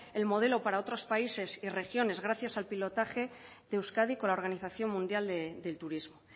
el modelo para otros países y regiones gracias al pilotaje de euskadi con la organización mundial del turismo